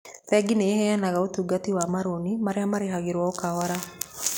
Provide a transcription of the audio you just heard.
Bengi nĩ ĩheanaga ũtungata wa marũni arĩa marĩhagĩrũo o kahora.